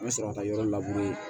An bɛ sɔrɔ ka taa yɔrɔ labure